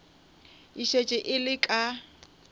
e šetše e le ka